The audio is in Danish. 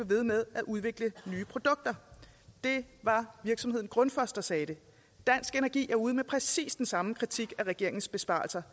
ved med at udvikle nye produkter det var virksomheden grundfos der sagde det dansk energi er ude med præcis den samme kritik af regeringens besparelser